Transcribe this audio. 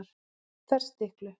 Ferstiklu